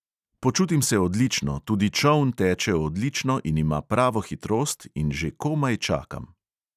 Počutim se odlično, tudi čoln teče odlično in ima pravo hitrost in že komaj čakam.